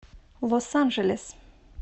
лос анджелес